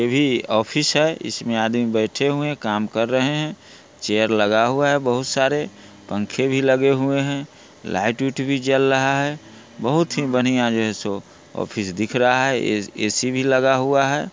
इ भी ऑफिस है इसमें आदमी बैठे हुए काम कर रहे हैं| चेयर लगा हुआ है बहुत सारे पंखे भी लगे हुए हैं लाइट - उट भी जल रहा है| बहुत ही बढ़िया यह शो ऑफिस दिख रहा है ऐ_सी भी लगा हुआ है।